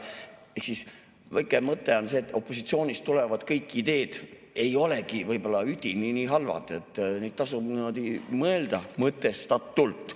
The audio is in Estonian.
Ehk siis väike mõte on see, et opositsioonist tulevad ideed ei olegi kõik võib-olla üdini nii halvad, neid tasub mõelda mõtestatult.